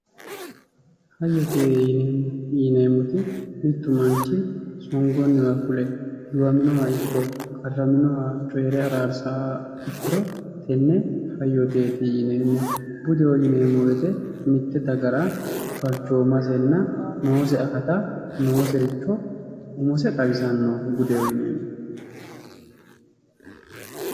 hoyyete yineemmoti mittu manchi songonniwa fule giwaminoha ikko qarraminoha coyiire araarsawoha ikkiro tenne hayyoteeti yineemmohu budeho yineemmo woyte mitte dagara balchoomasenna noose akata noosericho umose xawisanno budeho yineemmohu